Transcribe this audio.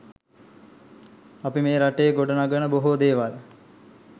අපි මේ රටේ ගොඩ නගන බොහෝ දේවල්